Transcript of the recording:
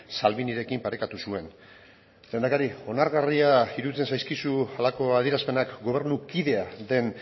salvinirekin parekatu zuen lehendakari onargarria iruditzen zaizkizu halako adierazpenak gobernukidea den